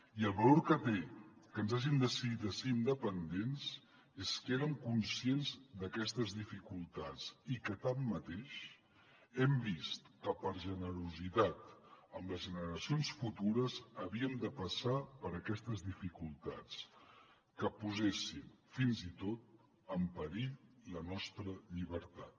i el valor que té que ens hàgim decidit a ser independents és que érem conscients d’aquestes dificultats i que tanmateix hem vist que per generositat amb les generacions futures havíem de passar per aquestes dificultats que posessin fins i tot en perill la nostra llibertat